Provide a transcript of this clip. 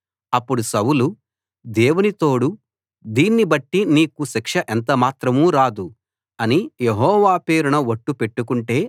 అప్పుడు సౌలు దేవుని తోడు దీన్ని బట్టి నీకు శిక్ష ఎంతమాత్రం రాదు అని యెహోవా పేరున ఒట్టు పెట్టుకొంటే